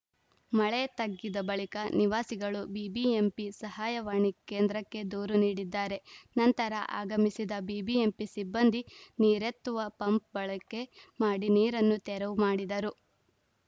ಮಳೆ ತಗ್ಗಿದ ಬಳಿಕ ನಿವಾಸಿಗಳು ಬಿಬಿಎಂಪಿ ಸಹಾಯವಾಣಿ ಕೇಂದ್ರಕ್ಕೆ ದೂರು ನೀಡಿದ್ದಾರೆ ನಂತರ ಆಗಮಿಸಿದ ಬಿಬಿಎಂಪಿ ಸಿಬ್ಬಂದಿ ನೀರೆತ್ತುವ ಪಂಪ್‌ ಬಳಕೆ ಮಾಡಿ ನೀರನ್ನು ತೆರವು ಮಾಡಿದರು